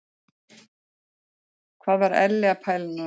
Hvað var Elli að pæla núna?